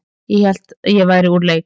Hélt að ég væri úr leik